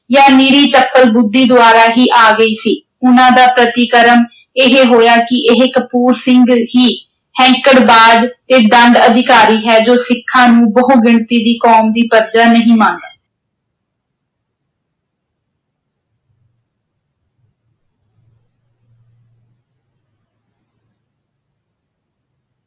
ਜਾਂ ਨਿਰੀ ਬੁੱਧੀ ਦੁਆਰਾ ਹੀ ਆ ਗਈ ਸੀ। ਉਨ੍ਹਾਂ ਦਾ ਪ੍ਰਤੀਕਰਮ ਇਹ ਹੋਇਆ ਕਿ ਇਹ ਕਪੂਰ ਸਿੰਘ ਹੀ ਹੈਂਕੜਬਾਜ਼ ਤੇ ਦੰਡ ਅਧਿਕਾਰੀ ਹੈ ਜੋ ਸਿੱਖਾਂ ਨੂੰ ਬਹੁ ਗਿਣਤੀ ਦੀ ਕੌਮ ਦੀ ਪਰਜਾ ਨਹੀਂ ਮੰਨਦਾ।